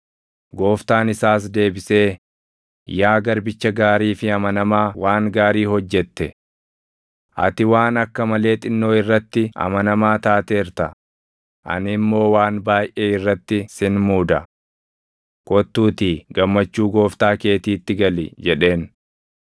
“Gooftaan isaas deebisee, ‘Yaa garbicha gaarii fi amanamaa, waan gaarii hojjette! Ati waan akka malee xinnoo irratti amanamaa taateerta; ani immoo waan baayʼee irratti sin muuda. Kottuutii gammachuu gooftaa keetiitti gali!’ jedheen.